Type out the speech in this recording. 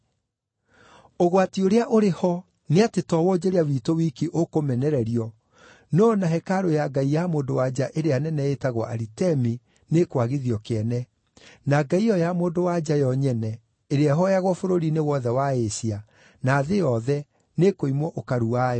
Ũgwati ũrĩa ũrĩ ho nĩ atĩ to wonjoria witũ wiki ũkũmenererio, no o na hekarũ ya ngai ya mũndũ-wa-nja ĩrĩa nene ĩĩtagwo Aritemi nĩĩkwagithio kĩene, na ngai ĩyo ya mũndũ-wa-nja yo nyene, ĩrĩa ĩhooyagwo bũrũri-inĩ wothe wa Asia, na thĩ yothe, nĩĩkũimwo ũkaru wayo.”